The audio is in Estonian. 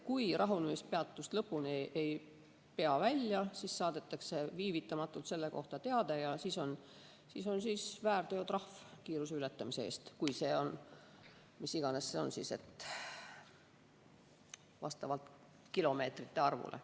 Kui rahunemispeatust lõpuni välja ei peeta, siis saadetakse viivitamatult selle kohta teade ja siis on väärteotrahv kiiruse ületamise eest, mis iganes see siis on, vastavalt kilomeetrite arvule.